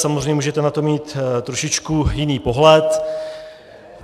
Samozřejmě, můžete na to mít trošičku jiný pohled.